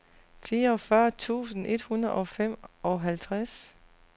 fireogfyrre tusind et hundrede og femoghalvtreds